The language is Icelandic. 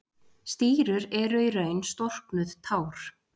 Stírur eru í raun storknuð tár.